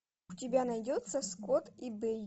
у тебя найдется скотт и бейли